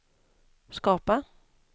skapa